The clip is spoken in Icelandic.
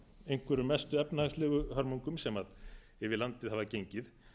einhverjum mestu efnahagslegu hörmungum sem yfir landið hafa gengið